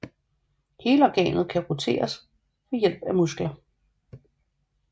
Hele organet kan roteres ved hjælp af muskler